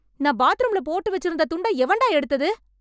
நான் பாத்ரூம்ல போட்டு வெச்சிருந்த துண்ட எவன்டா எடுத்தது?